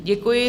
Děkuji.